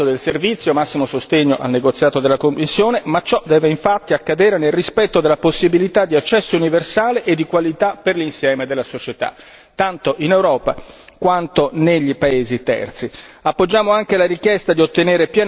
Dunque, è bene aprire il mercato del servizio, massimo sostegno al negoziato della Commissione, ma ciò deve infatti accadere nel rispetto della possibilità di accesso universale e di qualità per l'insieme della società, tanto in Europa quanto nei paesi terzi.